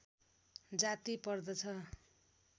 जाति पर्दछ